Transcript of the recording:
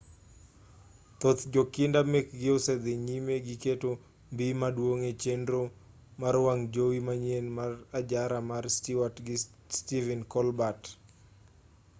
thoth jondiko mekgi osedhi nyime gi keto mbii maduong' e chenro mar wang' jowi manyien mar ajara mar stewart gi stephen colbert